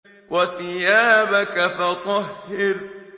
وَثِيَابَكَ فَطَهِّرْ